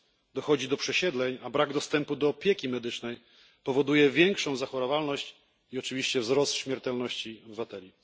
Dochodzi do przesiedleń, a brak dostępu do opieki medycznej powoduje większą zachorowalność i oczywiście wzrost śmiertelności obywateli.